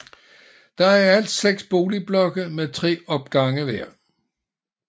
Der er i alt seks boligblokke med tre opgange hver